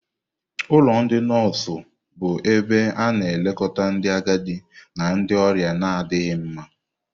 Ụlọ ndị nọọsụ bụ ebe a na-elekọta ndị agadi na ndị ọrịa na-adịghị mma.